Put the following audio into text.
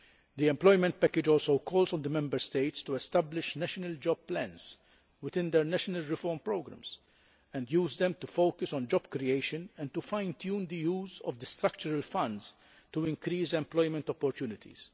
The employment package also calls on the Member States to establish national job plans within their national reform programmes and use them to focus on job creation and to fine tune the use of the structural funds to increase employment opportunities.